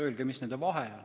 Öelge, mis on nende vahe.